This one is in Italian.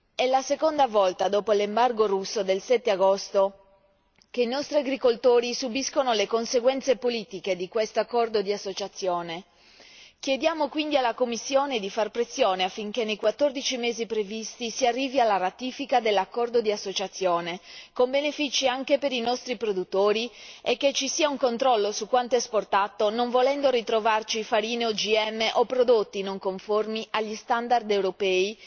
È la seconda volta dopo l'embargo russo del 7 agosto che i nostri agricoltori subiscono le conseguenze politiche di questo accordo di associazione. Chiediamo quindi alla Commissione di fare pressione affinché nei 14 mesi previsti si arrivi alla ratifica dell'accordo di associazione, con benefici anche per i nostri produttori, e che ci sia un controllo su quanto esportato non volendo ritrovarci farine OGM o prodotti non conformi agli standard europei